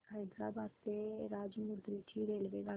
हैदराबाद ते राजमुंद्री ची रेल्वेगाडी